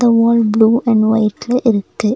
இந்த wall blue and ஒயிட்ல இருக்கு.